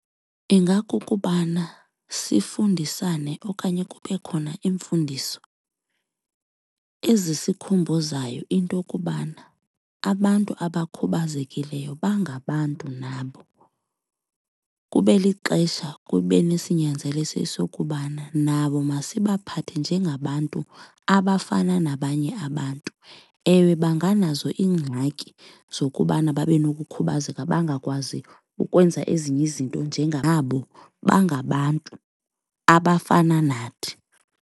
Ingakukubana sifundisane okanye kube khona iimfundiso ezisikhumbuzayo into okubana abantu abakhubazekileyo bangabantu nabo. Kube lixesha kube nesinyanzeliso esokubana nabo masibaphathe njengabantu abafana nabanye abantu. Ewe, benganazo iingxaki zokubana babe nokukhubazeka bangakwazi ukwenza ezinye izinto nabo bangabantu abafana nathi.